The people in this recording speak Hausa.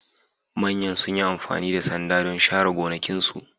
Manyan sun yi amfani da sanda don share gonakinsu